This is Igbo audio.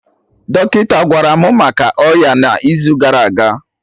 Dọkịta gwara mụ maka ọya ya na izu gara aga